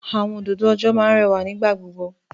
Àwọn òdòdó ọjọ́ máa ń rẹwà nígbà gbogbo.